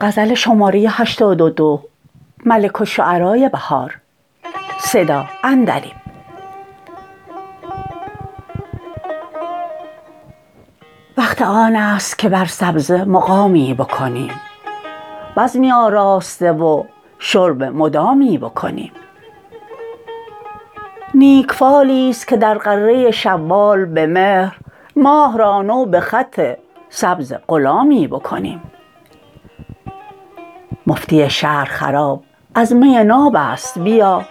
وقت آنست که بر سبزه مقامی بکنیم بزمی آراسته و شرب مدامی بکنیم نیک فالی است که در غره شوال به مهر ماه را نو به خط سبز غلامی بکنیم مفتی شهر خراب از می نابست بیا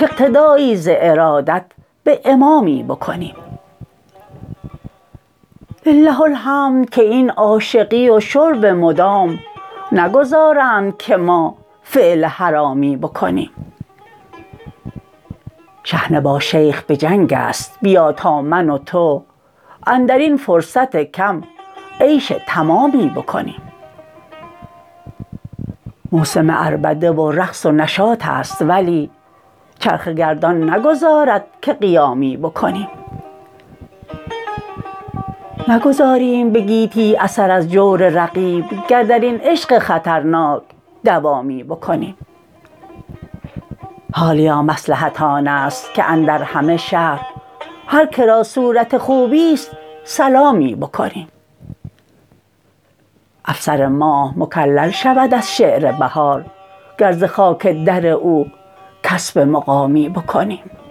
کاقتدایی ز ارادت به امامی بکنیم لله الحمد که این عاشقی و شرب مدام نگذارند که ما فعل حرامی بکنیم شحنه با شیخ به جنگ است بیا تا من وتو اندرین فرصت کم عیش تمامی بکنیم موسم عربده و رقص و نشاط است ولی چرخ گردان نگذارد که قیامی بکنیم نگذاریم به گیتی اثر از جور رقیب گر درین عشق خطرناک دوامی بکنیم حالیا مصلحت آنست که اندر همه شهر هرکرا صورت خوبی است سلامی بکنیم افسر ماه مکلل شود از شعر بهار گر زخاک در او کسب مقامی بکنیم